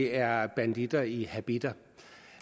er banditter i habitter